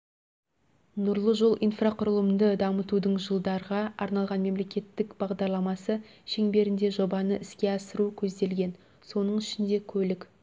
нұрлы жол инфрақұрылымды дамытудың жылдарға арналған мемлекеттік бағдарламасы шеңберінде жобаны іске асыру көзделген соның ішінде көлік